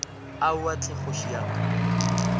aowa hle kgoši ya ka